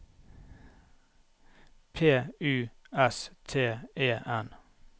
P U S T E N